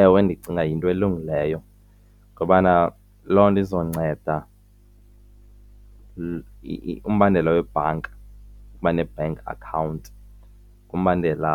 Ewe, ndicinga yinto elungileyo ngobana loo nto izonceda umbandela webhanka ukuba ne-bank account ngumbandela